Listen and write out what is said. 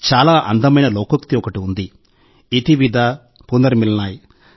చాలా మనోహరమైన లోకోక్తి ఒకటి ఉంది - 'ఇతి విదా పునర్మిలనాయ్'